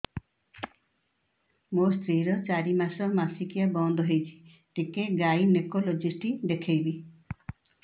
ମୋ ସ୍ତ୍ରୀ ର ଚାରି ମାସ ମାସିକିଆ ବନ୍ଦ ହେଇଛି ଟିକେ ଗାଇନେକୋଲୋଜିଷ୍ଟ ଦେଖେଇବି